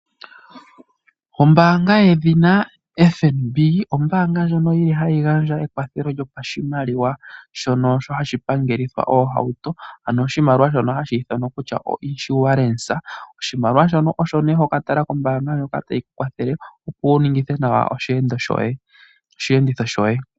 Ombaanga yedhina FNB ombaanga ndjono yili hayi gandja ekwathelo lyopashimaliwa, shono hashi pangelitha oohauto. Ano oshimaliwa shono hashi ithanwa kutya o'insurance'. Oshimaliwa shono osho nee hoka tala ko kombaanga ndjoka tayi kwathele opo wu ningithe nawa oshiyenditho shoye.